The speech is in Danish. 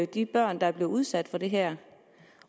de børn der er blevet udsat for det her